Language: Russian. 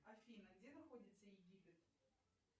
афина где находится египет